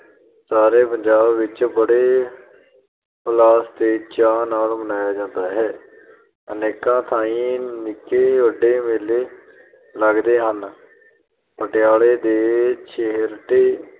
ਸਾਰੇ ਪੰਜਾਬ ਵਿੱਚ ਬੜੇ ਹੁਲਾਸ ਤੇ ਚਾਅ ਨਾਲ ਮਨਾਇਆ ਜਾਂਦਾ ਹੈ । ਅਨੇਕਾਂ ਥਾਈ ਨਿੱਕੇ-ਵੱਡੇ ਮੇਲੇ ਲਗਦੇ ਹਨ। ਪਟਿਆਲੇ ਤੇ ਛੇਹਰਟਾ